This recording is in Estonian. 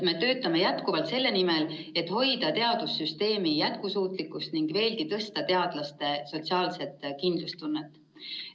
Me töötame jätkuvalt selle nimel, et hoida teadussüsteemi jätkusuutlikkust ning veelgi tõsta teadlaste sotsiaalset kindlustunnet.